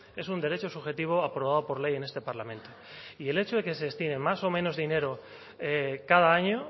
es un derecho subjetivo aprobado por ley en este parlamento y el hecho de que se destine más o menos dinero cada año